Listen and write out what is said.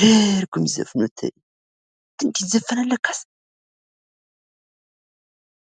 ኧረ አርገው እሚዘፍኑት እይ! አንተ እንድህ ይዘፈናል ለካስ።